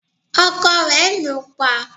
ọkọ rẹ̀ lù ú pa